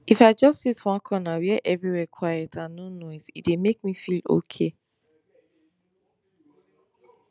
if i just sit one corner where everywhere quiet and no noise e dey make me feel okay